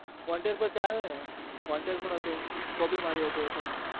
wanted પણ ચાલેને wanted પણ હતું copy માર્યું હતું એ પણ